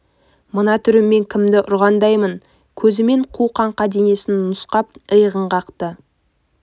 мына түріммен кімді ұрғандаймын көзімен қу қаңқа денесін нұсқап иығын қақты